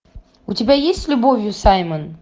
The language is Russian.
у тебя есть с любовью саймон